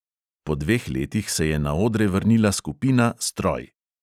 Po dveh letih se je na odre vrnila skupina stroj.